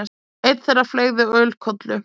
Einn þeirra fleygði ölkollu.